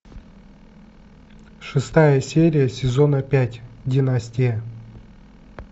шестая серия сезона пять династия